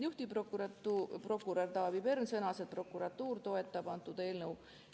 Juhtiv riigiprokurör Taavi Pern sõnas, et prokuratuur toetab eelnõu.